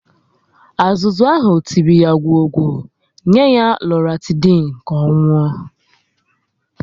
Azụzu ahụ tiri ya gwọọ gwo, nye ya Loratidin ka ọ nwụọ